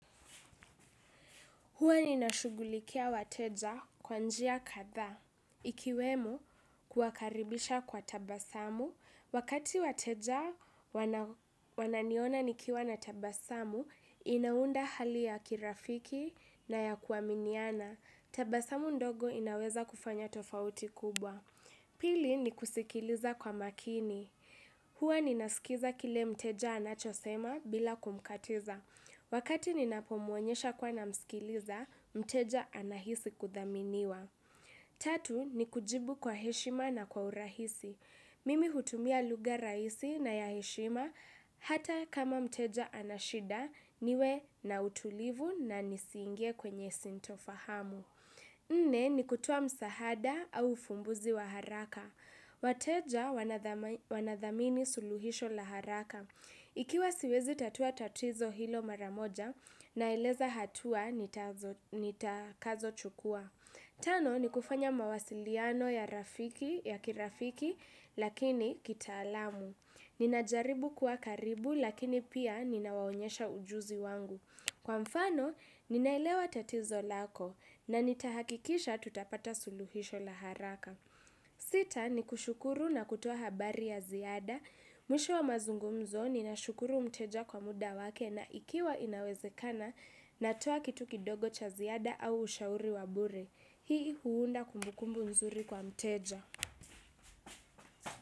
Huwa ni nashugulikia wateja kwanjia kadhaa. Ikiwemo kuakaribisha kwa tabasamu. Wakati wateja wananiona nikiwa na tabasamu, inaunda hali ya kirafiki na ya kuaminiana. Tabasamu ndogo inaweza kufanya tofauti kubwa. Pili ni kusikiliza kwa makini. Hwa ni nasikiza kile mteja anachosema bila kumkatiza. Wakati ninapomuonyesha kwa na mskiliza, mteja anahisi kuthaminiwa. Tatu ni kujibu kwa heshima na kwa urahisi. Mimi hutumia lugha raisi na ya heshima hata kama mteja anashida niwe na utulivu na nisingie kwenye sintofahamu. Nne ni kutuwa msahada au fumbuzi wa haraka. Wateja wanadhamini suluhisho la haraka. Ikiwa siwezi tatua tatizo hilo maramoja na ileza hatua nitakazo chukua. Tano ni kufanya mawasiliano ya kirafiki lakini kita alamu. Ninajaribu kuwa karibu lakini pia ninawaonyesha ujuzi wangu. Kwa mfano ninailewa tatizo lako na nitahakikisha tutapata suluhisho la haraka. Sita ni kushukuru na kutuwa habari ya ziada. Mwisho wa mazungumzo ni na shukuru mteja kwa muda wake. Na ikiwa inawezekana na toa kituki dogo cha ziada au ushauri wabure. Hii huunda kumbukumbu nzuri kwa mteja.